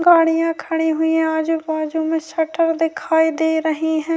گاڑیاں کھڑی ہوئی ہیں اجو باجو میں سٹر دکھائی دے رہے ہیں-